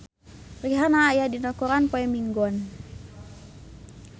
Rihanna aya dina koran poe Minggon